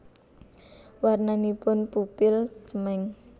Warnanipun pupil cemeng